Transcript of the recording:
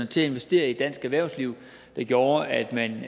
til at investere i dansk erhvervsliv der gjorde at man